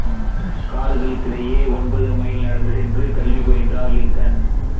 காடுகளுக்கிடையே ஒன்பது மைல் நடந்து சென்று கல்வி பயின்றார் லிங்கன்